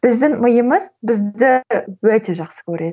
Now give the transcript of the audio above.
біздің миымыз бізді өте жақсы көреді